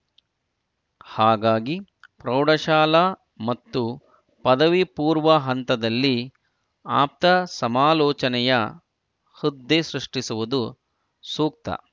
ಹಾಗಾಗಿ ಪ್ರೌಢಶಾಲಾ ಮತ್ತು ಪದವಿ ಪೂರ್ವ ಹಂತದಲ್ಲಿ ಆಪ್ತಸಮಾಲೋಚನೆಯ ಹುದ್ದೆ ಸೃಷ್ಟಿಸುವುದು ಸೂಕ್ತ